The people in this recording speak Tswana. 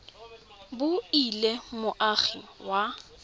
bo e le moagi wa